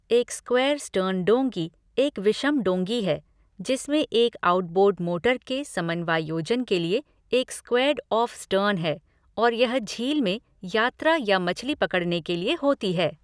एक square stern डोंगी एक विषम डोंगी है जिसमें एक आउटबोर्ड मोटर के समन्वायोजन के लिए एक स्क्वेयर्ड ऑफ़ स्टर्न है, और यह झील में यात्रा या मछली पकड़ने के लिए होती है।